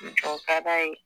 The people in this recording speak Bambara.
cɛ o ka d'a ye